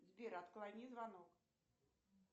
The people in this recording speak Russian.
сбер отклони звонок